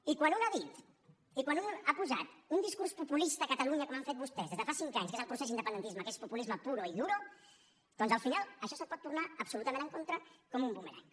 i quan un ha dit i quan un ha posat un discurs populista a catalunya com han fet vostès des de fa cinc anys que és el procés d’independentisme que és populisme puro y duro doncs al final això se’t pot girar absolutament en contra com un bumerang